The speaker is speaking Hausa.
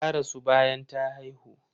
Ta rasu bayan ta haihu.